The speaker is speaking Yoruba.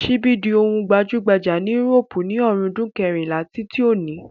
Síbí di ohun tí ó gbajúgbajà ni írópù ní ọ̀rúndún kẹrìnlá tí tí oní.